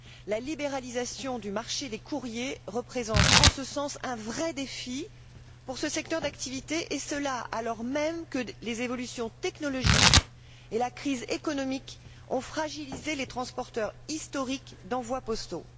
La libéralisation du marché des courriers représente, en ce sens, un vrai défi pour ce secteur d'activités et cela alors même que les évolutions technologiques et la crise économique ont fragilisé les transporteurs historiques d'envois postaux.